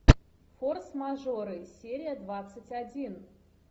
форс мажоры серия двадцать один